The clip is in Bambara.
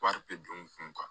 Wari bɛ don n kun kan